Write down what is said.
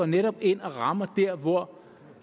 netop går ind og rammer dér hvor